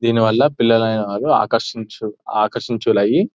దీనివల్ల పిల్లలు అయిన వాళ్ళు ఆకర్షించు ఆకర్షించు లై --